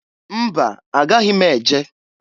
Mba! Agaghị m eje.